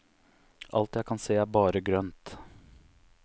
Alt jeg kan se, er bare grønt.